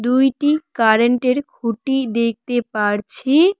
দুইটি কারেন্টের খুঁটি দেখতে পারছি।